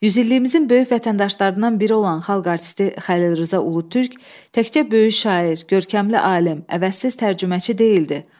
Yüzilliyimizin böyük vətəndaşlarından biri olan Xalq artisti Xəlil Rza Ulutürk təkcə böyük şair, görkəmli alim, əvəzsiz tərcüməçi deyildi.